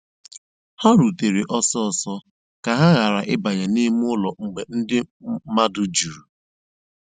Ha rùtèrè ọ́sọ́sọ́ kà ha ghàrà ị̀bànyè n'ìmè ụ́lọ́ mgbe ndí mmadụ́ jùrù.